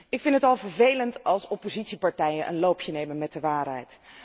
Ik vind het al vervelend als oppositiepartijen een loopje nemen met de waarheid.